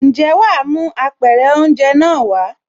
Ǹjẹ́ wàá mú Apẹ̀rẹ̀ oúnjẹ náà wàá?